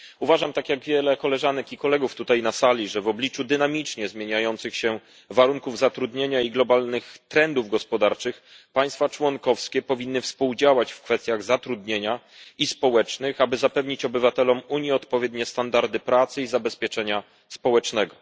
Uważam tak jak wiele koleżanek i kolegów tutaj na sali że w obliczu dynamicznie zmieniających się warunków zatrudnienia i globalnych trendów gospodarczych państwa członkowskie powinny współdziałać w kwestiach zatrudnienia i społecznych, aby zapewnić obywatelom Unii odpowiednie standardy pracy i zabezpieczenia społecznego.